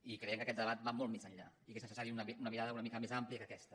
i creiem que aquest debat va molt més enllà i que és necessària una mirada una mica més àmplia que aquesta